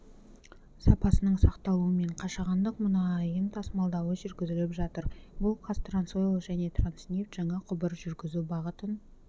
сапасының сақталуымен қашағандық мұнайын тасымалдауы жүргізіліп жатыр бұл қазтрансойл және транснефть жаңа құбыр жүргізу бағытын